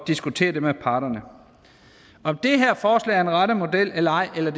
diskutere det med parterne om det her forslag er den rette model eller ej eller